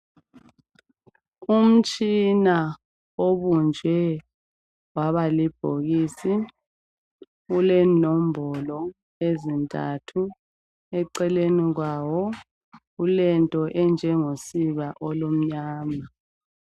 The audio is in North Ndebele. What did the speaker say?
Umtshina obunjwe waba libhokisi ulenombolo ezintathu eceleni kwawo kulento enjengosiba olumnyama.